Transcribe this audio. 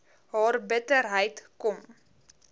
haar bitterheid kom